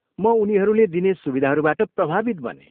म उनीहरूले दिने सुविधाहरूबाट प्रभावित बनेँ।